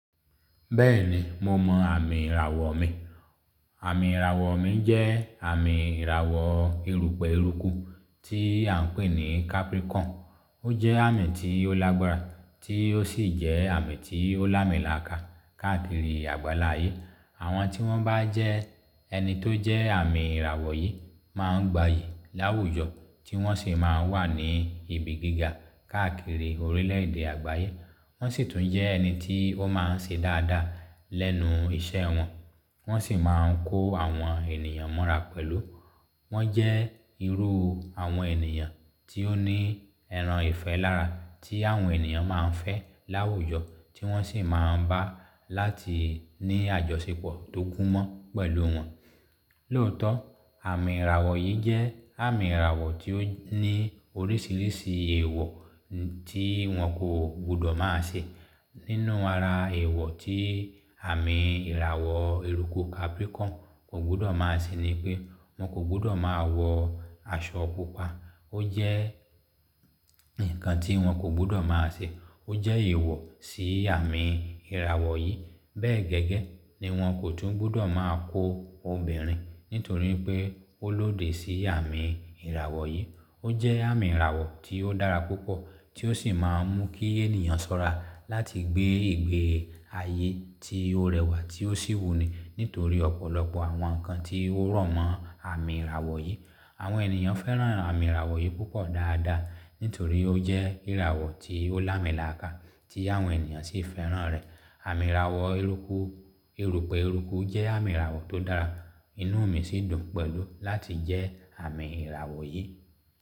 Bẹ́ẹ̀ni, mo mọ àmì ìràwọ̀ mi. Àmì ìràwọ̀ mi jẹ́ àmì ìràwọ̀ erùpẹ̀ eruku tí à ń pè ní Capricorn. Ó jẹ́ àmì tí ó lágbára tí ó sì jẹ́ àmì tí ó lámilàkà káàkiri àgbáláyé. Àwọn tí wọ́n bá jẹ ẹni tó jẹ́ àmì ìràwọ̀ yìí máa ń gbayì láwùjọ tí wọ́n sì máa ń wà ní ibi gíga káàkiri orílẹ̀èdè àgbáyé. Wọ́n sì tún jẹ́ ẹni tí wọ́n máa ń ṣe dáadáa lẹ́nu iṣẹ́ wọn, wọ́n sì máa ń kó àwọn ènìyàn mọ́ra pẹ̀lú. Wọ́n jẹ́ irú àwọn ènìyàn tí ó ní ẹran ìfẹ́ lára tí àwọn ènìyàn máa ń fẹ́ láwùjọ tí wọ́n sì máa ń bá láti ní àjọṣepọ̀ tó kún mọ́ pẹ̀lú wọn. Lóòótọ́, àmì ìràwọ̀ yìí jẹ́ àmì ìràwọ̀ tí ó ní oríṣiríṣi èèwọ̀ tí wọn kò gbọdọ̀ má ṣe. Nínú ara èèwọ̀ tí àmì ìràwọ̀ eruku Capricorn kò gbọdọ̀ má ṣe ni pé wọ́n kò gbọdọ̀ máa wọ aṣọ pupa. Ó jẹ́ ǹkan tí wọn kò gbọdọ̀ má ṣe. Ó jẹ́ èèwọ̀ sí àmì ìràwọ̀ yìí. Bẹ́ẹ̀ gẹ́gẹ́ ni wọ́n kò tún gbọdọ̀ máa kó obìnrin nítorí pé ó lóde sí àmì ìràwọ̀ yìí. Ó jẹ́ àmì ìràwọ̀ tí ó dára púpọ̀ tí ó sì máa ń mú kí ènìyàn ṣọ́ra láti gbé ìgbé ayé tí ó rẹwà tí ó sì wuni nítorí ọ̀pọ̀lọpọ̀ àwọn ǹkan tí ó rọ̀mọ́ àmì ìràwọ̀ yìí. Àwọn ènìyàn fẹ́ràn àmì ìràwọ̀ yìí púpọ̀ dáadáa nítorí ó jẹ́ ìràwọ̀ tí ó lámilàkà tí àwọn ènìyàn sì fẹ́ràn rẹ̀. Àmì ìràwọ̀ eruku, erùpẹ̀ eruku jẹ́ àmì ìràwọ̀ tó dára. Inú mi sì dùn pẹ̀lú láti jẹ́ àmì ìràwọ̀ yìí.